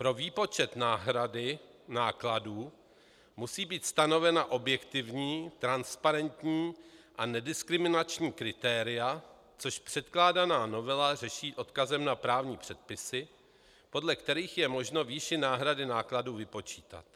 Pro výpočet náhrady nákladů musí být stanovena objektivní, transparentní a nediskriminační kritéria, což předkládaná novela řeší odkazem na právní předpisy, podle kterých je možno výši náhrady nákladů vypočítat.